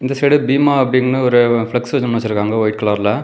இந்த சைடு பீமா அப்படின்னு ஒரு பிளக்ஸ் ஒன்னு வச்சிருக்காங்க வைட் கலர்ல .